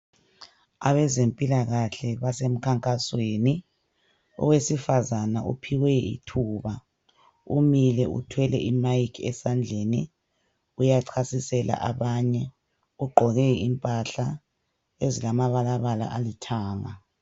Abezempilakahle basemkhankasweni .Owesifazana uphiwe ithuba .Umile uthwele mic esandleni. Uyachasisela abanye . Ugqoke impahla ezilama balabala alithanga .